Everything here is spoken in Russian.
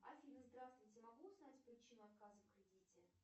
афина здравствуйте могу узнать причину отказа в кредите